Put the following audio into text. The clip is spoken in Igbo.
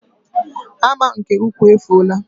hama nke ukwu efuola.